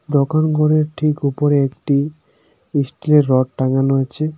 দোকান ঘরের ঠিক উপরে একটি ইস্টিলের রড টাঙানো আছে.